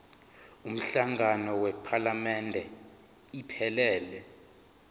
umhlangano wephalamende iphelele